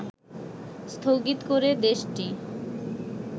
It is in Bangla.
স্থগিত করে দেশটি